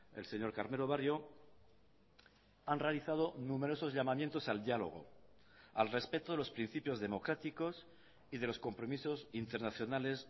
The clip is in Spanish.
el señor carmelo barrio han realizado numerosos llamamientos al diálogo al respeto de los principios democráticos y de los compromisos internacionales